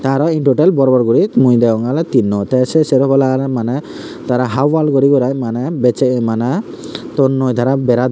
aro in todal bor bor guri mui degongey oley tinno tey sei sero polla oley maneh tey tara hap wall guri gurai maneh bessey maneh tonnoi tara bera don.